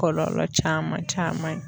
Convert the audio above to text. Kɔlɔlɔ caman caman ye.